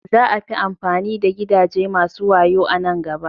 Za a fi amfani da gidaje masu wayo a nan gaba.